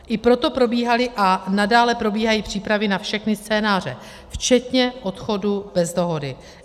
I proto probíhaly a nadále probíhají přípravy na všechny scénáře včetně odchodu bez dohody.